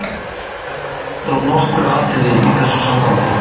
Vert er að líta á nokkur atriði í þessu sambandi.